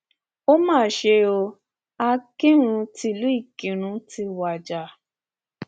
ó mà ṣe o akinrun tílu ìkírùn ti wájà